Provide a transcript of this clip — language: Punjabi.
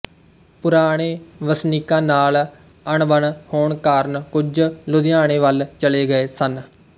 ਪੁਰਾਣੇ ਵਸਨੀਕਾਂ ਨਾਲ ਅਣਬਣ ਹੋਣ ਕਾਰਨ ਕੁਝ ਲੁਧਿਆਣੇ ਵੱਲ ਚਲੇ ਗਏ ਸਨ